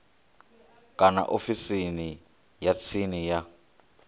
kana ofisini ya tsini ya